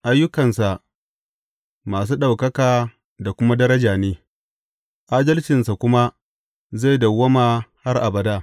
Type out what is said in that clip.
Ayyukansa masu ɗaukaka da kuma daraja ne, adalcinsa kuma zai dawwama har abada.